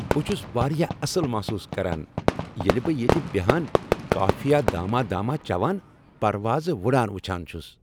بہٕ چُھس واریاہ اصل محسوس کران ییٚلہ بہٕ ییتہِ بہان کافی داماہ داماہ چوان پروازٕ وُڈان وُچھان چُھس ۔